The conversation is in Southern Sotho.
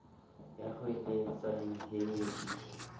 ya hoeletsang he e i